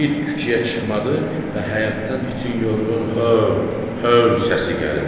İt küçəyə çıxmadı və həyətdən itin yorğun "höv, höv" səsi gəlirdi.